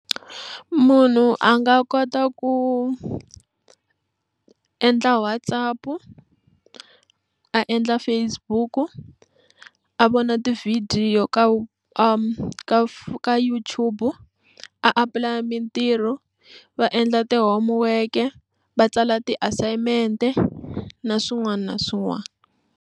Munhu a nga kota ku endla WhatsApp a endla Facebook u a vona tivhidiyo ka ka ka YouTube a apulaya mintirho va endla ti-homework va tsala ti-assignment na swin'wana na swin'wana.